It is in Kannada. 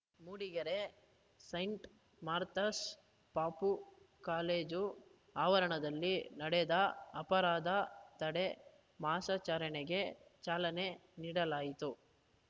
ಮೂಡಿಗೆರೆ ಸೈಂಟ್‌ ಮಾರ್ಥಾಸ್‌ ಪಪೂ ಕಾಲೇಜು ಆವರಣದಲ್ಲಿ ನಡೆದ ಅಪರಾಧ ತಡೆ ಮಾಸಾಚರಣೆಗೆ ಚಾಲನೆ ನೀಡಲಾಯಿತು